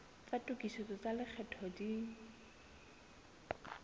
tsa tokisetso tsa lekgetho di